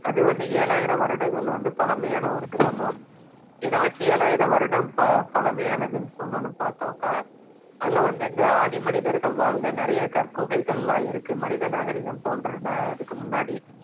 அது வந்து எழாயிர வருடங்கள் பழமையான ஒரு கிராமம் எதவச்சு எழாயிர வருட ப~ பழமையானதுன்னு சொன்னொன்னு பாத்தாக்கா அங்க வந்து இந்த ஆதிமனிதர்கள் வாழ்ந்த நிறைய கற்குகைகலாம் இருக்கு மனித நாகரிகம் தொன்ற அதுக்கு முன்னாடி